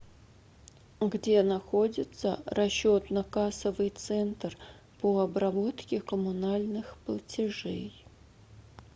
где находится расчетно кассовый центр по обработке коммунальных платежей